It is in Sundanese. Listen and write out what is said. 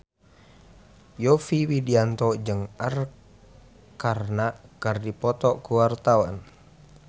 Yovie Widianto jeung Arkarna keur dipoto ku wartawan